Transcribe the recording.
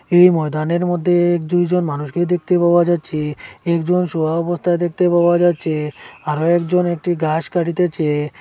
এই ময়দানের মধ্যে দুইজন মানুষকে দেখতে পাওয়া যাচ্ছে একজন শোয়া অবস্থায় দেখতে পাওয়া যাচ্ছে আরও একজন একটি ঘাস কাটিতেছে।